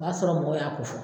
O b'a sɔrɔ mɔgɔ y'a ko fɔ